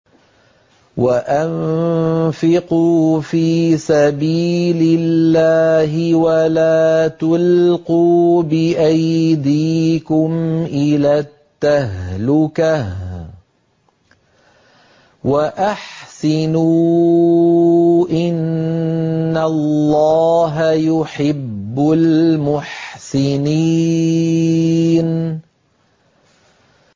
وَأَنفِقُوا فِي سَبِيلِ اللَّهِ وَلَا تُلْقُوا بِأَيْدِيكُمْ إِلَى التَّهْلُكَةِ ۛ وَأَحْسِنُوا ۛ إِنَّ اللَّهَ يُحِبُّ الْمُحْسِنِينَ